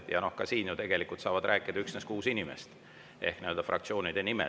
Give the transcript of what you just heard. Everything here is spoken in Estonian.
Ja ka praegu ju tegelikult saavad rääkida üksnes kuus inimest fraktsioonide nimel.